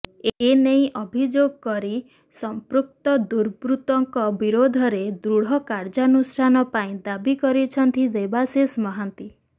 ଏ ନେଇ ଅଭିଯୋଗ କରି ସଂପୃକ୍ତ ଦୁର୍ବୃତଙ୍କ ବିରୋଧରେ ଦୃଢ କାର୍ଯ୍ୟାନୁଷ୍ଠାନ ପାଇଁ ଦାବି କରିଛନ୍ତି ଦେବାଶିଷ ମହାନ୍ତି